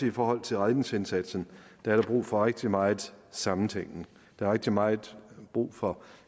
i forhold til redningsindsatsen der er brug for rigtig meget sammentænkning der er rigtig meget brug for